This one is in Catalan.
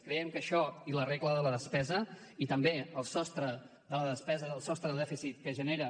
creiem que això i la regla de la despesa i també el sostre de la despesa el sostre de dèficit que genera